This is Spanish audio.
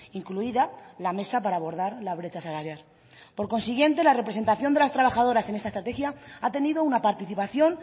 incluida la mesa para abordar la brecha salarial por consiguiente la representación de las trabajadoras en esta estrategia ha tenido una participación